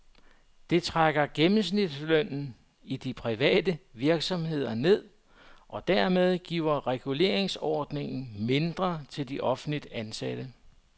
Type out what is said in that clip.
Det trækker gennemsnitslønnen i de private virksomheder ned, og dermed giver reguleringsordningen mindre til de offentligt ansatte.